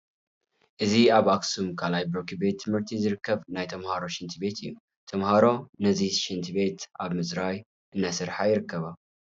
እዚ ኣብ ኣኽሱም ካልኣይ ብርኪ ቤት ትምህርቲ ዝርከብ ናይ ተመሃሮ ሽንት ቤት እዩ፡፡ ተመሃሮ ነዚ ሽንት ቤት ኣብ ምፅራይ እናሰርሓ ይርከባ፡፡